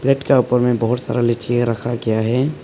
Plate के ऊपर में बहुत सारा लीची रखा गया है।